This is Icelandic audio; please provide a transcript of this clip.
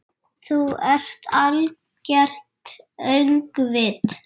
Þú ert algert öngvit!